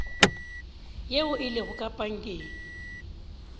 yeo e lego ka pankeng